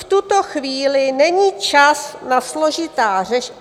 V tuto chvíli není čas na složitá řešení .